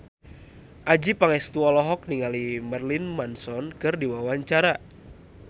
Adjie Pangestu olohok ningali Marilyn Manson keur diwawancara